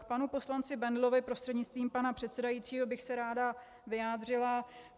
K panu poslanci Bendlovi, prostřednictvím pana předsedajícího, bych se ráda vyjádřila.